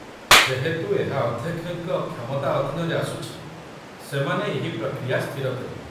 ଯେହେତୁ ଏହା ଅଧ୍ୟକ୍ଷଙ୍କ କ୍ଷମତା ଅଧୀନରେ ଆସୁଛି, ସେମାନେ ଏହି ପ୍ରକ୍ରିୟା ସ୍ଥିର କରିବେ